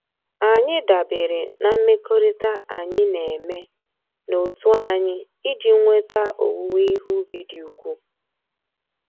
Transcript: Anyị dabeere na mmekọrịta anyị na-eme n'otu anyị iji nweta owuwe ihe ubi dị ukwu